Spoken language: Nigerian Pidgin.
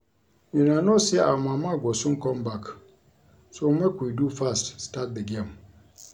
Una no say our mama go soon come back so Make we do fast start the game